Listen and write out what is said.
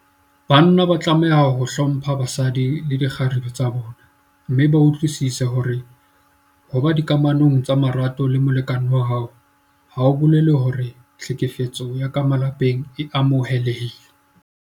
Banna ba tlameha ho hlompha basadi le dikgarebe tsa bona mme ba utlwisise hore ho ba dikamanong tsa marato le molekane wa hao ha ho bolele hore tlhekefetso ya ka malapeng e amohelehile.